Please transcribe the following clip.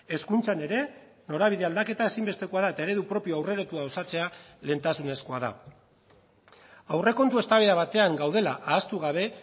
hezkuntzan ere norabide aldaketa ezinbestekoa da eta eredu propio aurreratua osatzea lehentasunezkoa da aurrekontu eztabaida batean gaudela ahaztu gabe